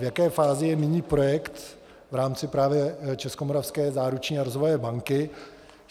V jaké fázi je nyní projekt v rámci právě Českomoravské záruční a rozvojové banky?